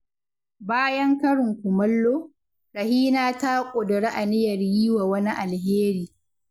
Bayan karin kumallo, Rahina ta ƙudiri aniyar yi wa wani alheri.